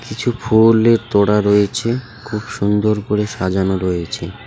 কিছু ফুলের তোরা রয়েছে খুব সুন্দর করে সাজানো রয়েছে .